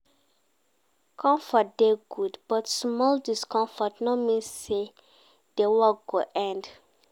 Comfort dey good, but small discomfort no mean sey di workd go end